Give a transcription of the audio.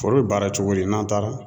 Foro bɛ baara cogo di, n'an taara